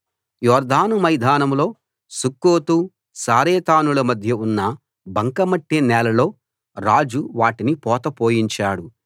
యొర్దాను మైదానంలో సుక్కోతు సారెతానుల మధ్య ఉన్న బంక మట్టి నేలలో రాజు వాటిని పోత పోయించాడు